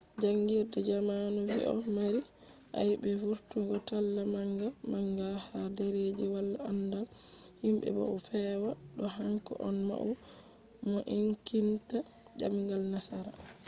jangirde zamanu vi odo mari ayebe vurtungo talla manga manga ha derreji wala andal himbe bo o fewa do hanko on maudo mo enkitinta demgal nasara